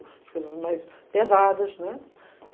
As coisas mais pesadas, né?